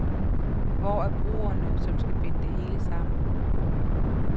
Hvor er broerne, som skal binde det hele sammen.